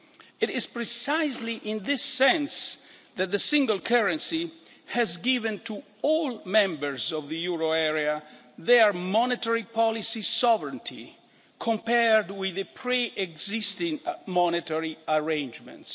It is precisely in this sense that the single currency has given to all members of the euro area their monetary policy sovereignty, compared with the pre-existing monetary arrangements.